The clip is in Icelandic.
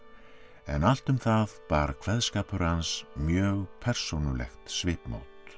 en allt um það bar kveðskapur hans mjög persónulegt svipmót